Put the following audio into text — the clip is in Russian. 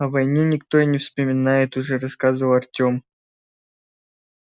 о войне никто и не вспоминает уже рассказывал артем ганзой называлось содружество станций кольцевой линии